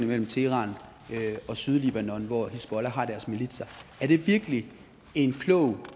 mellem teheran og sydlibanon hvor hizbollah har deres militser er det virkelig en klog